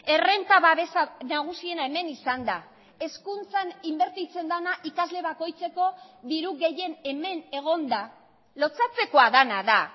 errenta babesa nagusiena hemen izanda hezkuntzan inbertitzen dena ikasle bakoitzeko diru gehien hemen egonda lotsatzekoa dena da